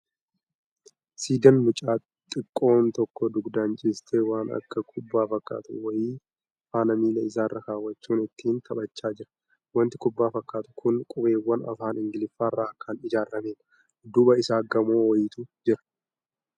Siidaa mucaa xiqqoon tokko dugdaan ciistee waan akka kubbaa fakkaatu wayii faana miila isaarra kaawwachuun ittiin taphachaa jira. Wanti kubbaa fakkaatu kun qubeewwan Afaan Ingliffaarraa kan ijaaramedha. Dudduuba isaa gamoo wayiitu jira.